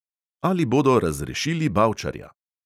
Ali bodo razrešili bavčarja?